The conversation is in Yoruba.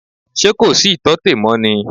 Ṣé kò sí ìtọ́tè mọ́ ni?